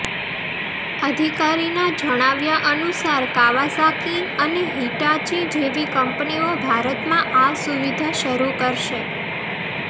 અધિકારીના જણાવ્યા અનુસાર કાવાસાકી અને હિટાચી જેવી કંપનીઓ ભારતમાં આ સુવિધા શરૂ કરશે